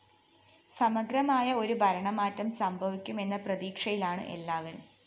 സമഗ്രമായ ഒരു ഭരണമാറ്റം സംഭവിക്കുമെന്ന പ്രതീക്ഷയിലാണ് എല്ലാവരും